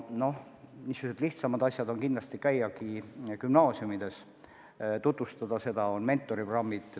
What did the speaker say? Niisugused lihtsamad ettevõtmised on kindlasti käia gümnaasiumides, tutvustada seda tööd, on mentoriprogrammid.